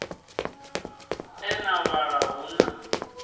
e na vhala hu na